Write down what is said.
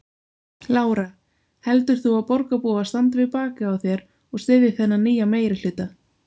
Lára: Heldur þú að borgarbúar standi við bakið á þér og styðji þennan nýja meirihluta?